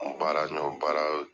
Baara baara